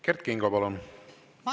Kert Kingo, palun!